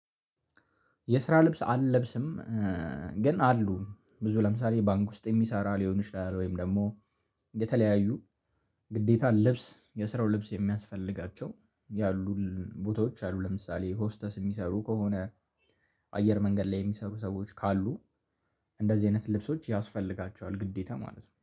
የስራ ልብስ አልለብስም። ግን አሉ ብዙ ለምሳሌ ባንክ ውስጥ የሚሰራ ሊሆን ይችላል። ወይም ደግሞ የተለያዩ ግዴታ ልብስ የስራው ልብስ የሚያስፈልጋቸው ያሉ ቦታዎች አሉ። ለምሳሌ ሆስተስ የሚሰሩ ከሆነ። አየር መንገድ ላይ የሚሰሩ ሰዎች ካሉ እንደዚህ አይነት ልብሶች ያስፈልጋቸዋል። ግዴታ ማለት ነው